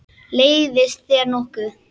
Leiðist þér nokkuð?